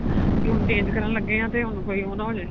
ਕੀ ਹੁਣ change ਕਰਨ ਲੱਗੇ ਆਂ ਤੇ ਹੁਣ ਕੋਈ ਉਹ ਨਾ ਹੋਜੇ